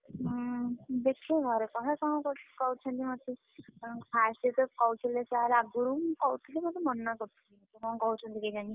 ହୁଁ ଦେଖେ ଘରେ କହେ କଣ କହୁଛନ୍ତି ମତେ, first ଯେତବେଳେ କହୁଥିଲେ sir ଆଗୁରୁ ମୁଁ କହୁଥିଲି ମତେ ମନା କରୁଥିଲେ, କଣ କହୁଛନ୍ତି କେଜାଣି?